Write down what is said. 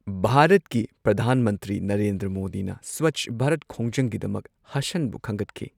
ꯚꯥꯔꯠꯀꯤ ꯄ꯭ꯔꯙꯥꯟ ꯃꯟꯇ꯭ꯔꯤ ꯅꯔꯦꯟꯗ꯭ꯔ ꯃꯣꯗꯤꯅ ꯁ꯭ꯋꯆ ꯚꯥꯔꯠ ꯈꯣꯡꯖꯪꯒꯤꯗꯃꯛ ꯍꯥꯁꯟꯕꯨ ꯈꯟꯒꯠꯈꯤ꯫